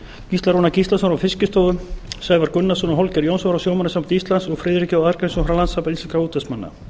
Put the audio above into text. gísla rúnar gíslason frá fiskistofu sævar gunnarsson og hólmgeir jónsson frá sjómannasambandi íslands og friðrik j arngrímsson frá landssambandi íslenskra útvegsmanna